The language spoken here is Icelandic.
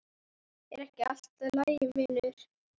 Er ekki allt í lagi vinur?